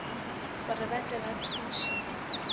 gore ba tle ba thuše